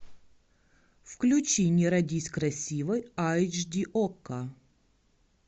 включи не родись красивой айч ди окко